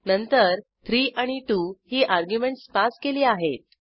नंतर 3 आणि 2 ही अर्ग्युमेंटस पास केली आहेत